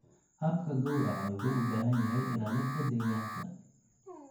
Habka gowraca wuxuu u baahan yahay ilaalinta deegaanka.